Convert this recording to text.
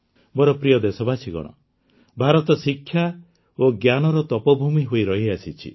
ମୋର ପ୍ରିୟ ଦେଶବାସୀଗଣ ଭାରତ ଶିକ୍ଷା ଓ ଜ୍ଞାନର ତପୋଭୂମି ହୋଇ ରହିଆସିଛି